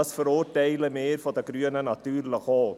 Das verurteilen wir von den Grünen natürlich auch.